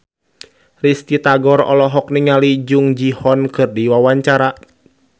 Risty Tagor olohok ningali Jung Ji Hoon keur diwawancara